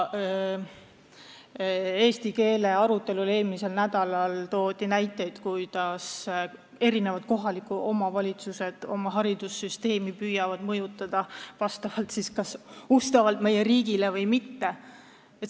Eestikeelse hariduse arutelul eelmisel nädalal toodi näiteid, kuidas eri kohalikud omavalitsused püüavad haridussüsteemi mõjutada kas siis ustavalt meie riigile või mitte.